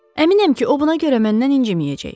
Əminəm ki, o buna görə məndən inciməyəcək.